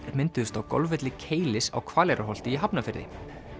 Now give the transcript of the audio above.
mynduðust á golfvelli Keilis á Hvaleyrarholti í Hafnarfirði